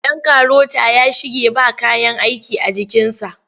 Ɗan karota ya shige ba kayan aiki a jikinsa.